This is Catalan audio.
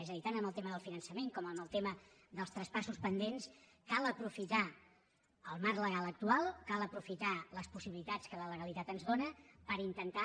és a dir tant en el tema del finançament com en el tema dels traspassos pendents cal aprofitar el marc legal actual cal aprofitar les possibilitats que la legalitat ens dóna per intentar